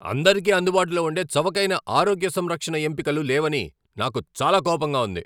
అందరికీ అందుబాటులో ఉండే చవకైన ఆరోగ్య సంరక్షణ ఎంపికలు లేవని నాకు చాలా కోపంగా ఉంది.